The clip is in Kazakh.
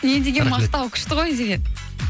не деген мақтау күшті ғой